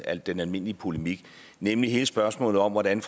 al den almindelige polemik nemlig hele spørgsmålet om hvordan